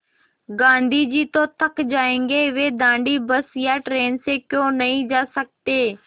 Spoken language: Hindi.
गाँधी जी तो थक जायेंगे वे दाँडी बस या ट्रेन से क्यों नहीं जा सकते